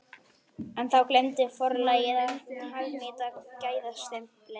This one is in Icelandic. En þá gleymdi forlagið að hagnýta gæðastimpilinn!